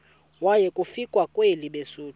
waya kufika kwelabesuthu